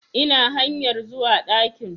Ina hanyar zuwa ɗakin